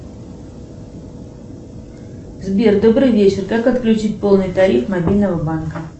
сбер добрый вечер как отключить полный тариф мобильного банка